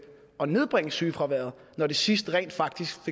og nedbringe sygefraværet når det sidst rent faktisk